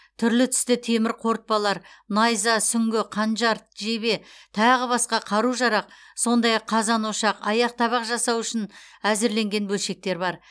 түрлі түсті темір қорытпалар найза сүңгі қанжар жебе тағы басқа қару жарақ сондай ақ қазан ошақ аяқ табақ жасау үшін әзірленген бөлшектер бар